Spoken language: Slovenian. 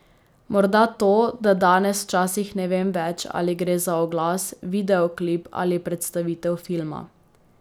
Morda to, da danes včasih ne vem več, ali gre za oglas, videoklip ali predstavitev filma.